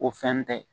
O fɛn tɛ